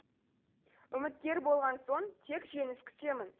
үміткер болған соң тек жеңіс күтемін